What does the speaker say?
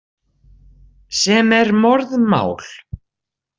Sem er morðmál.